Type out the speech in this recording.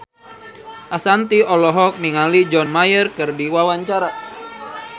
Ashanti olohok ningali John Mayer keur diwawancara